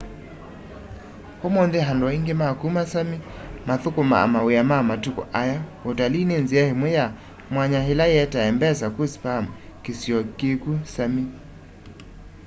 umunthi andu aiingi ma kuma sami makthukumaa mawia ma mutuku aya utalii ni nzia imwe yi mwanya ila ietae mbesa ku sapmi kisio kiku sami